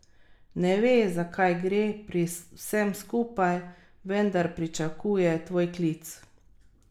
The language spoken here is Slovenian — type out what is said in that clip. Ne ve, za kaj gre pri vsem skupaj, vendar pričakuje tvoj klic.